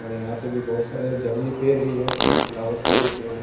औड़ यहाँ पे भी बहोत सारे जंगली पेर भी है और फ्लावर्स का भी पेर है।